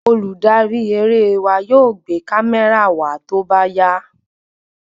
Olùdarí eré wa yóò gbé kamẹra wa tóbá yá